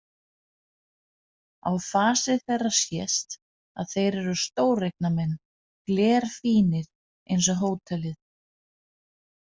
Á fasi þeirra sést að þeir eru stóreignamenn, glerfínir eins og hótelið.